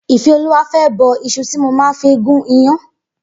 Ifeoluwa fè bọ iṣù ti mó mà fi gùn iyàn